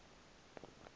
nto ithile apho